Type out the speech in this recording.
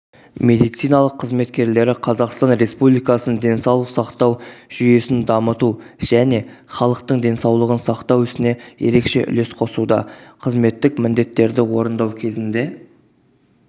медициналық қызмет қызметкерлері қазақстан республикасының денсаулық сақтау жүйесін дамыту және халықтың денсаулығын сақтау ісіне ерекше үлес қосуда қызметтік міндеттерді орындау кезінде